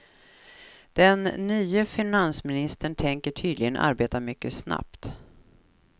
Den nye finansministern tänker tydligen arbeta mycket snabbt.